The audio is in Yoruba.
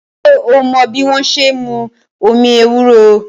Ṣé o mọ́ bí wọ́n ṣe n mú omi ewúro?